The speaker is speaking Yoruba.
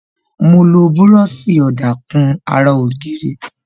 Mo lo búròsì ọ̀dà kùn ara ògiri